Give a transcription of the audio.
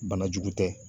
Banajugu tɛ